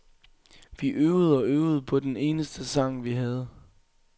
Vi øvede og øvede på den eneste sang, vi havde.